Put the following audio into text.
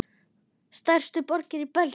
Stærstu borgir í Belgíu